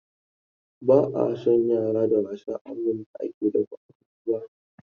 Ba a son yara da wasa a wurin da ake dafa abinci ba.